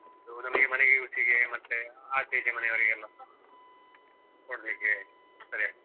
ಅದು ನಮಿಗೆ ಮನೆಗೆ use ಗೆ ಮತ್ತೆ ಆಚೆ ಈಚೆ ಮನೆಯವರಿಗೆಲ್ಲ ಕೊಡ್ಲಿಕ್ಕೆ ಸರಿ ಆಗ್ತದೆ.